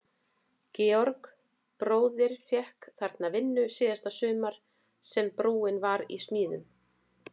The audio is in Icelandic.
Georg bróðir fékk þarna vinnu síðasta sumarið sem brúin var í smíðum.